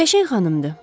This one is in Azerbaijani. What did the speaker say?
Qəşəng xanımdır,